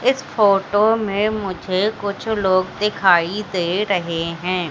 इस फोटो में मुझे कुछ लोग दिखाई दे रहे हैं।